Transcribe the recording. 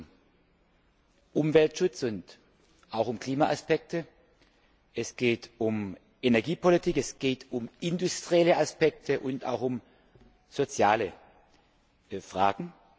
Es geht um Umweltschutz und auch um Klimaaspekte, es geht um Energiepolitik, es geht um industrielle Aspekte und auch um soziale Fragen.